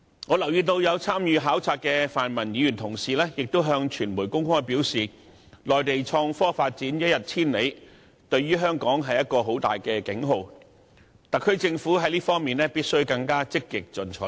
我留意到有參與考察的泛民議員向傳媒公開表示，內地創科發展一日千里，對香港響起了重大警號，特區政府在這方面必須更為積極進取。